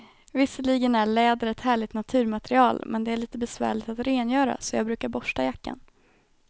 Visserligen är läder ett härligt naturmaterial, men det är lite besvärligt att rengöra, så jag brukar borsta jackan.